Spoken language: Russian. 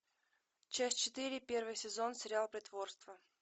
часть четыре первый сезон сериал притворство